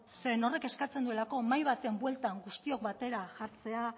zeren horrek eskatzen duelako mahai batean bueltan guztiok batera jartzea